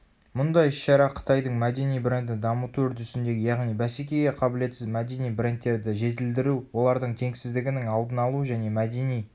мұндай іс-шара қытайдың мәдени брендін дамыту үрдісіндегі яғни бәсекеге қабілетсіз мәдени брендтерді жетілдіру олардың теңсіздігінің алдын алу және мәдени